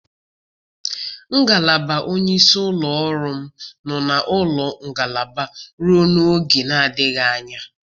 Ngalaba onye isi ụlọ ọrụ m nọ na ụlọ ngalaba ruo n'oge na-adịbeghị anya